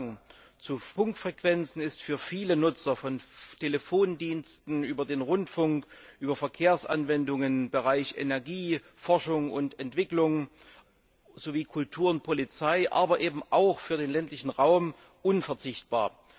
Der Zugang zu Funkfrequenzen ist für viele Nutzer von Telefondiensten über den Rundfunk, Verkehrsanwendungen, den Bereich Energie, Forschung und Entwicklung bis hin zu Kultur und Polizei, aber eben auch für den ländlichen Raum unverzichtbar.